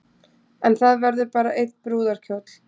En það verður bara einn brúðarkjóll